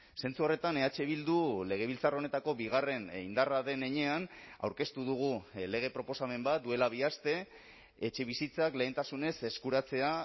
zentzu horretan eh bildu legebiltzar honetako bigarren indarra den heinean aurkeztu dugu lege proposamen bat duela bi aste etxebizitzak lehentasunez eskuratzea